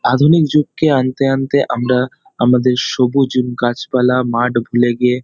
আধুনিক যুগকে আনতে আনতে আমরা আমাদের সবুজ যুগ গাছপালা মাঠ ভুলে গিয়ে--